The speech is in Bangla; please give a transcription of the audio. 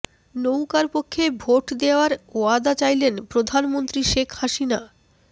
নৌকার পক্ষে ভোট দেওয়ার ওয়াদা চাইলেন প্রধানমন্ত্রী শেখ হাসিনা